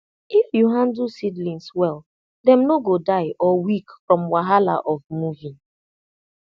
if you handle seedlings well dem no go die or weak from wahala of moving